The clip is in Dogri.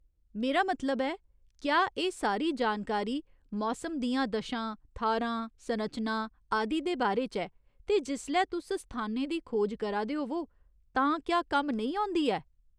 मेरा मतलब ऐ, क्या एह् सारी जानकारी मौसम दियां दशां, थाह्‌रां, संरचनां आदि दे बारे च ऐ, ते जिसलै तुस स्थानें दी खोज करा दे होवो तां क्या कम्म नेईं औंदी ऐ ?